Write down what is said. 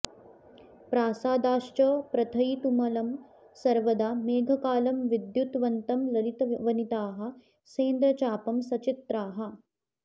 प्रासादाश्च प्रथयितुमलं सर्वदा मेघकालं विद्युत्वन्तं ललितवनिताः सेन्द्रचापं सचित्राः